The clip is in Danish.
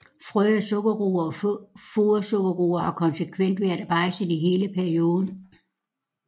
Frø af sukkerroer og fodersukkerroer har konsekvent været bejdset i hele perioden